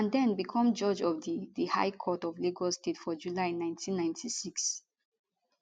and den become judge of di di high court of lagos state for july 1996